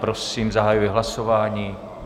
Prosím, zahajuji hlasování.